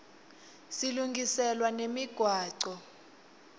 silungiselwa nemigwaco